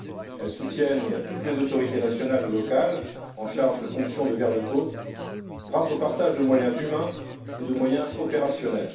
elles soutiennent toutes les autorités nationales ou locales chargées de fonctions de garde côtes grâce au partage de moyens humains et de moyens opérationnels.